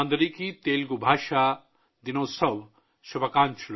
اندریکی تیلگو بھاشا دنوتسو شُبھا کانکشلو